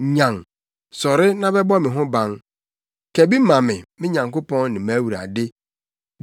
Nyan, sɔre na bɛbɔ me ho ban! Ka bi ma me, me Nyankopɔn ne mʼAwurade.